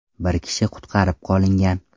Bir kishi qutqarib qolingan.